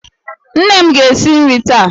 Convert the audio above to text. Nna m ga-esi nri taa.